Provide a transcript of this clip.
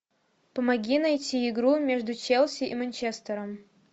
помоги найти игру между челси и манчестером